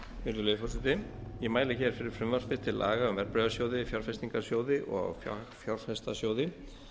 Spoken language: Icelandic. virðulegi forseti ég mæli fyrir frumvarpi til laga um verðbréfasjóði fjárfestingarsjóði og fagfjárfestasjóði